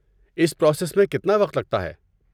اس process میں کتنا وقت لگتا ہے؟